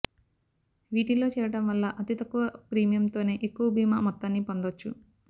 వీటిల్లో చేరడం వల్ల అతితక్కువ ప్రీమియంతోనే ఎక్కువ బీమా మొత్తాన్ని పొందొచ్చు